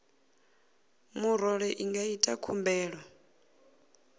murole i nga ita khumbelo